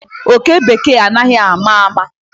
Oke Bekee anaghi ama ama.